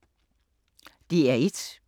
DR1